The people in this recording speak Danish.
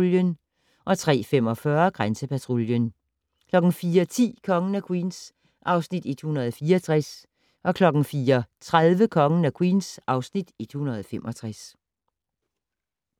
03:45: Grænsepatruljen 04:10: Kongen af Queens (Afs. 164) 04:30: Kongen af Queens (Afs. 165)